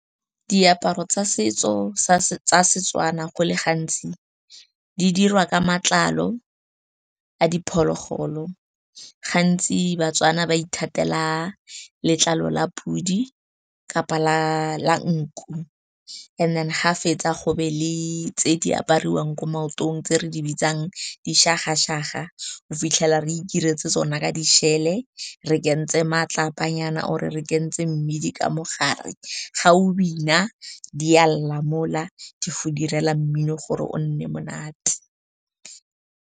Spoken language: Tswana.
Diaparo tsa setso tsa seTswana go le gantsi di dirwa ka matlalo a diphologolo. Gantsi baTswana ba ithatela letlalo la podi kapa la nku. And then ga fetsa go be le tse di apariwang ko maotong tse re di bitsang dišagašaga. O fitlhela re ikiretse tsona ka di-shell-e, re kentse matlapanyana or-e re kentse mmidi ka mogare. Ga o bina di a lla mo la, di go direla mmino gore o nne monate.